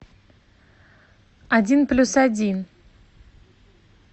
один плюс один